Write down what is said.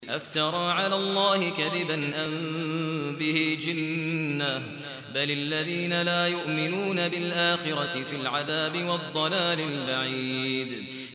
أَفْتَرَىٰ عَلَى اللَّهِ كَذِبًا أَم بِهِ جِنَّةٌ ۗ بَلِ الَّذِينَ لَا يُؤْمِنُونَ بِالْآخِرَةِ فِي الْعَذَابِ وَالضَّلَالِ الْبَعِيدِ